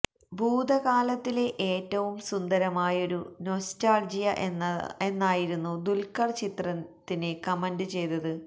ഭൂതകാലത്തിലെ ഏറ്റവും സുന്ദരമായൊരു നൊസ്റ്റാൾജിയ എന്നായിരുന്നു ദുൽഖർ ചിത്രത്തിന് കമന്റ് ചെയ്തത്